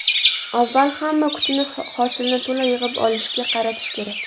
Avval hamma kuchni hosilni to‘la yig‘ib olishga qaratish kerak.